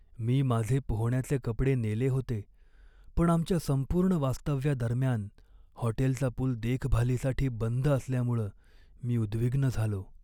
मी माझे पोहण्याचे कपडे नेले होते, पण आमच्या संपूर्ण वास्तव्यादरम्यान हॉटेलचा पूल देखभालीसाठी बंद असल्यामुळं मी उद्विग्न झालो.